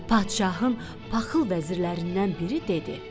Padşahın paxıl vəzirlərindən biri dedi: